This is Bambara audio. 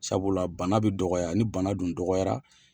Sabula bana be dɔgɔya ni bana dun dɔgɔyara